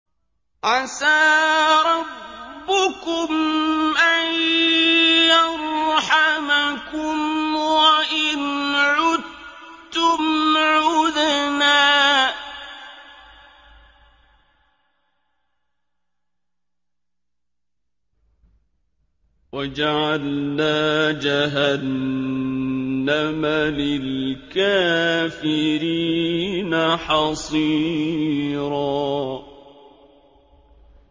عَسَىٰ رَبُّكُمْ أَن يَرْحَمَكُمْ ۚ وَإِنْ عُدتُّمْ عُدْنَا ۘ وَجَعَلْنَا جَهَنَّمَ لِلْكَافِرِينَ حَصِيرًا